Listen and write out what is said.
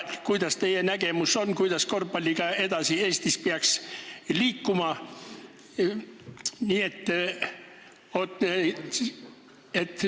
Milline on teie nägemus, kuidas peaks Eestis korvpalliga edasi liikuma?